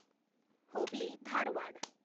Hubli Dharwad